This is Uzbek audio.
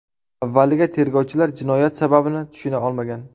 Avvaliga tergovchilar jinoyat sababini tushuna olmagan.